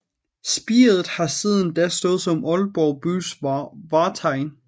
Spiret har siden da stået som Aalborg bys vartegn